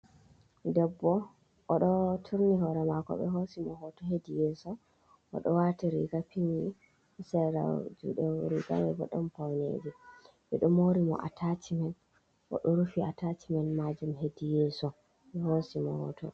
Ɗebbo oɗo turni hore mako be hosi mo hoto heɗi yeso. Oɗo wati riga pinmi sera juɗe riga manbo ɗon fauneji. Beɗo mori mo atacimen. Oɗo rufi atacimen majum heɗi yeso. Be hosi mo hoto.